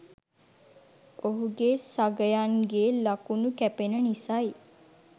ඔහුගේ සගයන් ගේ ලකුණු කැපෙන නිසයි